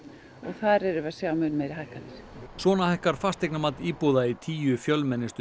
þar erum við að sjá meiri hækkanir svona hækkar fasteignamat íbúða í tíu fjölmennustu